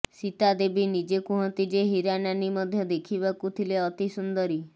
ସୀତାଦେବୀ ନିଜେ କୁହନ୍ତି ଯେ ହୀରାନାନୀ ମଧ୍ୟ ଦେଖିବାକୁ ଥିଲେ ଅତି ସୁନ୍ଦରୀ